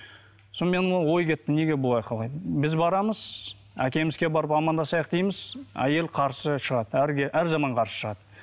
сонымен ой кетті неге былай қалай біз барамыз әкемізге барып амандасайық дейміз әйелі қарсы шығады әр әр заман қарсы шығады